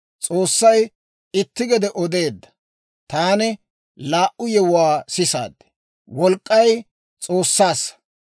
S'oossay itti gede odeedda, taani laa"u yewuwaa sisaad; «Wolk'k'ay S'oossaassa.